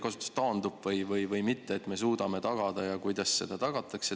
Kas me suudame tagada ja kuidas seda tagatakse?